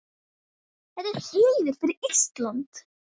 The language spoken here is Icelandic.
Þetta er heiður fyrir Ísland.